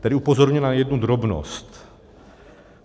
Tady upozorňuji na jednu drobnost.